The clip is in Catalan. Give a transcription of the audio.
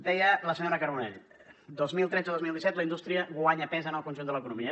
deia la senyora carbonell dos mil tretze dos mil disset la indústria guanya pes en el conjunt de l’economia